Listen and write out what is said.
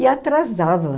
E atrasava.